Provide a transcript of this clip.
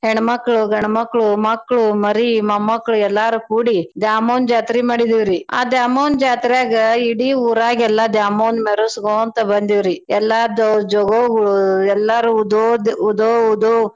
ಹೆಣ್ಮಕ್ಳು, ಗಂಡ್ಮಕ್ಳು, ಮಕ್ಳು, ಮರಿ, ಮೊಮ್ಮಕ್ಳು ಎಲ್ಲಾರೂ ಕೂಡಿ ದ್ಯಾಮವ್ವನ್ ಜಾತ್ರೀ ಮಾಡಿದ್ವಿರೀ. ಆ ದ್ಯಾಮವ್ವನ್ ಜಾತ್ರ್ಯಾಗ್ ಇಡೀ ಊರಾಗೆಲ್ಲಾ ದ್ಯಾಮವ್ವನ್ ಮೆರ್ಸಗೊಂತ ಬಂದ್ವೀರೀ ಎಲ್ಲಾ ದೊ~ ಜೋಗವ್ವ ಗೋಳು ಎಲ್ಲಾರೂ ಉದೋದ್ ಉದೋ ಉದೋ.